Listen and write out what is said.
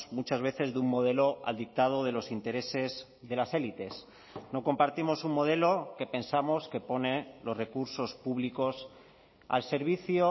muchas veces de un modelo al dictado de los intereses de las élites no compartimos un modelo que pensamos que pone los recursos públicos al servicio